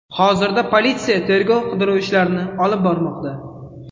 Hozirda politsiya tergov-qidiruv ishlarini olib bormoqda.